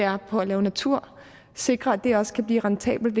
er på at lave natur sikre at det også kan blive rentabelt